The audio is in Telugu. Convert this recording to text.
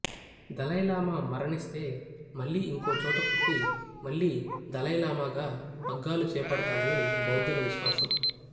దలైలామా మరణిస్తే మళ్ళీ ఇంకో చోట పుట్టి మళ్ళీ దలైలామాగా పగ్గాలు చేపడతాడని బౌద్ధుల విశ్వాసం